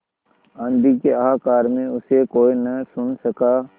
आँधी के हाहाकार में उसे कोई न सुन सका